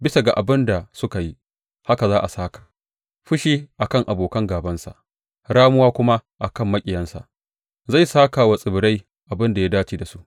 Bisa ga abin da suka yi, haka za a sāka fushi a kan abokan gābansa ramuwa kuma a kan maƙiyansa; zai sāka wa tsibirai abin da ya dace da su.